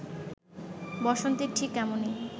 বসন্তের ঠিক এমনি